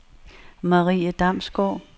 Marie Damsgaard